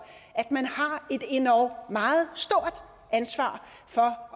at man har et endog meget stort ansvar for